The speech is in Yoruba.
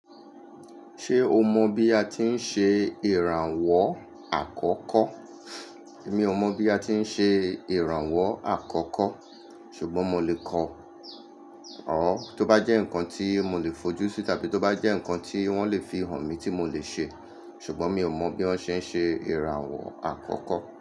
Ṣé o mọ bí a ti ń ṣe ìrànwọ́ àkọ́kọ́? Èmi ò mọ̀ bí a ti ń ṣe ìrànwọ́ àkọ́kọ́, ṣùgbọ́n mo lè kọ ọ́ tó bá jẹ́ nǹkan tí mo lè fojú sí tàbí tó bá jẹ́ nǹkan tí wọ́n lè fihàn mi tí mo lè ṣe. Ṣùgbọ́n mi ò mọ̀ bí wọ́n ṣe ń ṣe ìrànwọ́ àkọ́kọ́